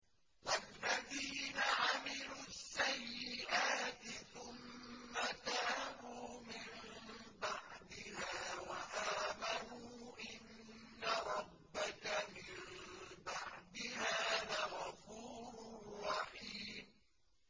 وَالَّذِينَ عَمِلُوا السَّيِّئَاتِ ثُمَّ تَابُوا مِن بَعْدِهَا وَآمَنُوا إِنَّ رَبَّكَ مِن بَعْدِهَا لَغَفُورٌ رَّحِيمٌ